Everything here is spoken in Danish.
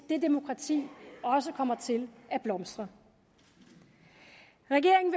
det demokrati også kommer til at blomstre regeringen